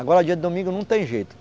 Agora dia de domingo não tem jeito.